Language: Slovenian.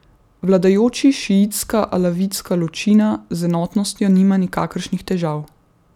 Vladajoči šiitska alavitska ločina z enotnostjo nima nikakršnih težav.